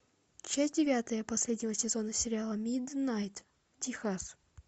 часть девятая последнего сезона сериала миднайт техас